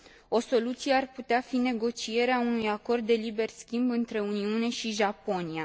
O soluție ar putea fi negocierea unui acord de liber schimb între Uniune și Japonia.